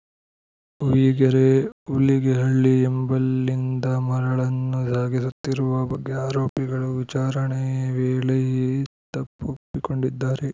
ಹುಯಿಗೆರೆ ಉಲಿಗೆಹಳ್ಳ ಎಂಬಲ್ಲಿಂದ ಮರಳನ್ನು ಸಾಗಿಸುತ್ತಿರುವ ಬಗ್ಗೆ ಆರೋಪಿಗಳು ವಿಚಾರಣೆ ವೇಳೆ ತಪೊ್ಪಪ್ಪಿಕೊಂಡಿದ್ದಾರೆ